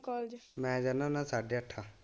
College ਮੈ ਜਾਂਦਾ ਹੁੰਦਾ ਸਾਡੇ ਅੱਠ।